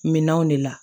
Minɛnw de la